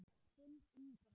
Þinn, Ingvar.